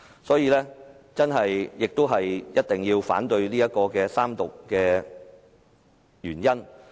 所以，這也是我一定要反對三讀的原因。